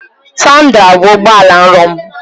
Tundra bụ ụgbọ ala nrọ m.